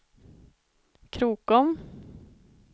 Krokom